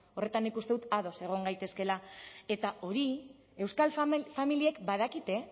horretan nik uste dut ados egon gaitezkeela eta hori euskal familiek badakite